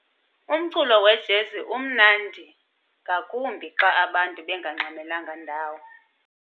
Umculo wejezi umnandi ngakumbi xa abantu bengangxamelanga ndawo.